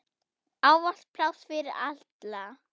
Ávallt pláss fyrir alla.